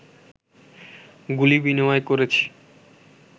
গুলি বিনিময় করেছে